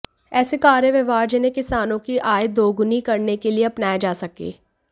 ऐसे कार्य व्यवहार जिन्हें किसानों की आय दोगुनी करने के लिए अपनाया जा सके